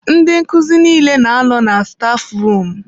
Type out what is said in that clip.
Ndị nkuzi niile na-anọ na stafu rum.